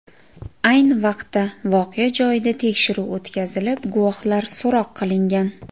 Ayni vaqtda voqea joyida tekshiruv o‘tkazilib, guvohlar so‘roq qilingan.